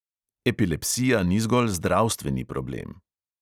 Epilepsija ni zgolj zdravstveni problem.